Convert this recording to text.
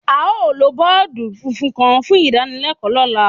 Ao lo bọọdu funfun kan fun idanilẹkọ lọla.